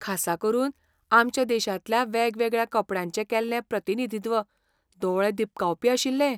खासा करून, आमच्या देशांतल्या वेगवेगळ्या कपड्यांचें केल्लें प्रतिनिधित्व दोळे दिपकावपी आशिल्लें.